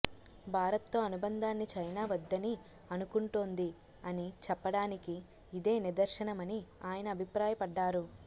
భారత్తో అనుబంధాన్ని చైనా వద్దని అనుకుంటోంది అని చెప్పడానికి ఇదే నిదర్శనమని ఆయన అభిప్రాయపడ్డారు